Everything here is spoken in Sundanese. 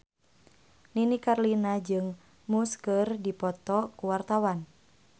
Nini Carlina jeung Muse keur dipoto ku wartawan